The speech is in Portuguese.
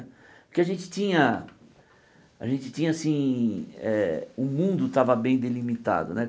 Porque a gente tinha a gente tinha assim eh... O mundo estava bem delimitado né.